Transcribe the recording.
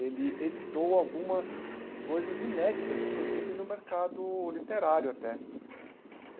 Ele editou algumas coisas inéditas, inclusive no mercado literário até.